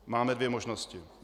Máme dvě možnosti.